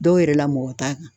Dɔw yɛrɛ la mɔgɔ t'a kan